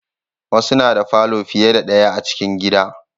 Wasu na da falo fiye da daya a cikin gida